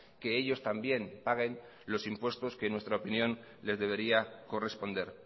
que ellos también paguen los impuestos que en nuestra opinión les debería corresponder